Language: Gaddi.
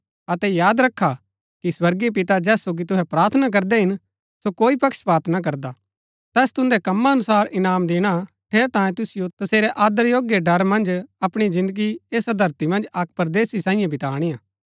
अतै याद रखा कि स्वर्गीय पिता जैस सोगी तुहै प्रार्थना करदै हिन सो कोई पक्षपात ना करदा तैस तुन्दै कमा अनुसार इनाम दिणा ठेरैतांये तुसिओ तसेरै आदर योग्य ड़र मन्ज अपणी जिन्दगी ऐसा धरती मन्ज अक्क परदेसी सांईये बिताणी हा